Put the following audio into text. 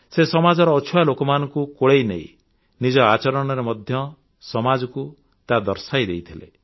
ସେ ସମାଜର ଅଛୁଆଁ ଲୋକମାନଙ୍କୁ କୋଳେଇନେଇ ନିଜ ଆଚରଣରେ ମଧ୍ୟ ସମାଜକୁ ତାହା ଦର୍ଶାଇ ଦେଇଥିଲେ